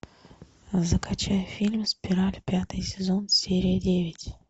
закачай фильм спираль пятый сезон серия девять